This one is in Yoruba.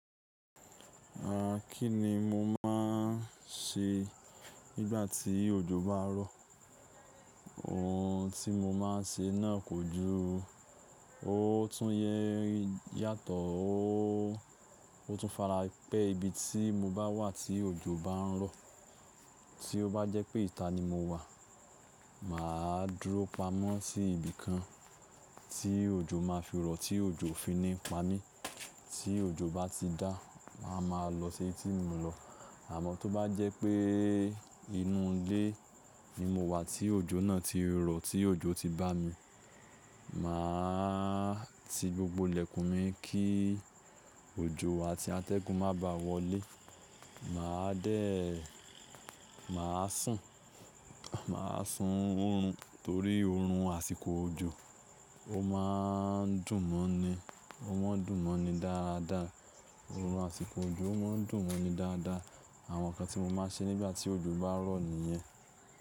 À kí ni mo máa ń ṣe nígbà tí òjò bá rọ̀? Ohun tí mo máa ṣe náà kò ju, ó tún yẹ́ yàtọ̀, ó tún fara pẹ́ ibi tí mo bá wà tí òjò bá ń rọ̀. Tí ó bá jẹ́ pé ìta ni mo wà, mà á dúró pamọ́ sí ibìkan tí òjò máa fi rọ̀, tí òjò fi ní pa mí. Tí òjò bá ti dá, mà á máa lọ sí ibi tí mo lọ. Àmọ́ tó bá jẹ́ pé inú ilé ni mo wà tí òjò náà ti rọ̀, tí òjò ti bá mi, mà á ti gbogbo ìlẹ̀kùn mi kí òjò àti atẹ́gùn má bàá wọlé. Mà á dẹ́, mà á sùn, mà á sun oorun torí oorun àsìkò òjò ó máa ń dùn mọ́ ni, ó má ń dùn mọ́ ni dáadáa. Oorun àsìkò òjò ó má ń dùn mọ́ ni dáadáa. Àwọn nǹkan tí mo máa ṣe nígbà tí òjò bá rọ̀ nìyẹn.